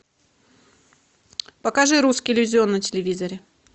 покажи русский иллюзион на телевизоре